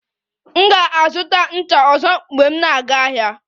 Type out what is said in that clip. M ga-azụta ncha ọzọ mgbe m na-aga ahịa